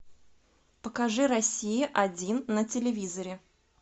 покажи россия один на телевизоре